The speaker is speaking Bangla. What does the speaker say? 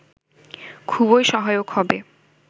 খুবই সহায়ক হবে